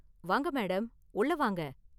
வாங்க மேடம், உள்ள வாங்க.